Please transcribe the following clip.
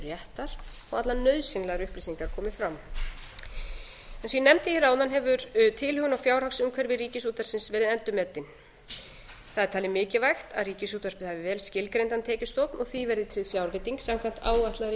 réttar og allar nauðsynlegar upplýsingar komi fram eins og ég nefndi hér áðan hefur tilhögun á fjárhagsumhverfi ríkisútvarpsins verið endurmetin það er talið mikilvægt að ríkisútvarpið hafi skilgreindan tekjustofn og því verði tryggð fjárveiting samkvæmt áætlaðri innheimtu